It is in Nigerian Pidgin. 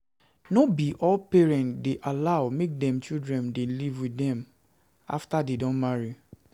No be all parents dey allow make dem children dey live with dem after dey don marry.